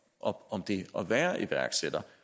op om det at være iværksætter